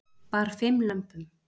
Bar fimm lömbum